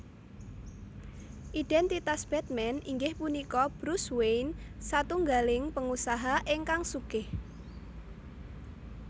Identitas Batman inggih punika Bruce Wayne satunggaling pengusaha ingkang sugih